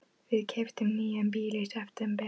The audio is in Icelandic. Við keyptum nýjan bíl í september.